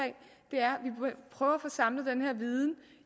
prøve at få samlet den her viden